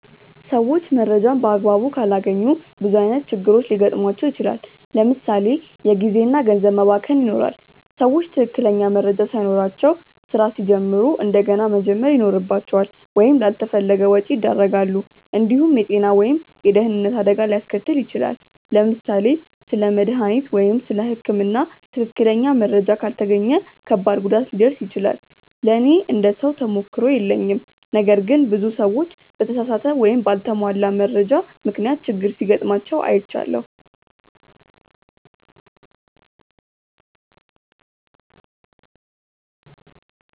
ሰዎች መረጃን በአግባቡ ካላገኙ ብዙ ዓይነት ችግሮች ሊገጥሟቸው ይችላል። ለምሳ ሌ የጊዜ እና ገንዘብ መባከን ይኖራል። ሰዎች ትክክለኛ መረጃ ሳይኖራቸው ስራ ሲጀምሩ እንደገና መጀመር ይኖርባቸዋል ወይም ላልተፈለገ ወጪ ያደርጋሉ። እንዲሁም የጤና ወይም የደህንነት አደጋ ሊያስከትል ይችላል። ለምሳሌ ስለ መድሃኒት ወይም ስለ ህክምና ትክክለኛ መረጃ ካልተገኘ ከባድ ጉዳት ሊደርስ ይችላል። ለእኔ እንደ ሰው ተሞክሮ የለኝም ነገር ግን ብዙ ሰዎች በተሳሳተ ወይም በአልተሟላ መረጃ ምክንያት ችግር ሲጋጥማቸው አይቻለሁ።